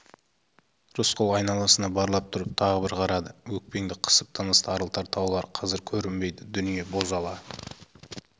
рысқұл айналасына барлап тұрып тағы бір қарады өкпеңді қысып тыныс тарылтар таулар қазір көрінбейді дүние бозала